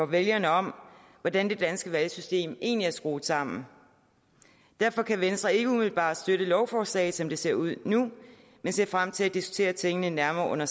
vælgerne om hvordan det danske valgsystem egentlig er skruet sammen derfor kan venstre ikke umiddelbart støtte lovforslaget som det ser ud nu men ser frem til at diskutere tingene nærmere under